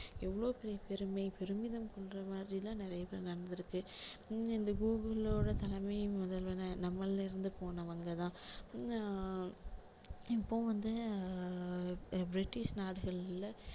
எவ்ளோ பெரிய பெருமை பெருமிதம் கொள்ற மாதிரி எல்லாம் நிறையவே நடந்து இருக்கு இந்த கூகுள்லோட தலைமை முதல்வர் நம்மளில இருந்து போனவங்க தான் அஹ் இப்போ வந்து அஹ் பிரிட்டிஷ் நாடுகள்ல